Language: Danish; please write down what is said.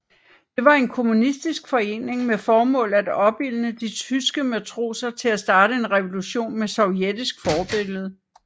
Det var en kommunistisk forening med formål at opildne de tyske matroser til at starte en revolution med Sovjetisk forbillede